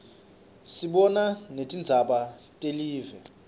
sibona netingzaba telive